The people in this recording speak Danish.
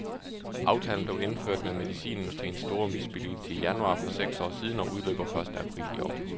Aftalen blev indført med medicinindustriens store misbilligelse i januar for seks år siden og udløber første april i år.